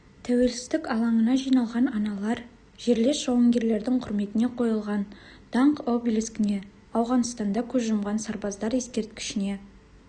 тәуелсіздік алаңына жиналған аналар жерлес жауынгерлердің құрметіне қойылған даңқ обелискіне ауғанстанда көз жұмған сарбаздар ескерткішіне